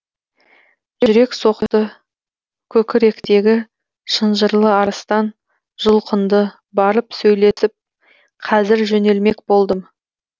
жүрек соқты көкіректегі шынжырлы арыстан жұлқынды барып сөйлесіп қазір жөнелмек болдым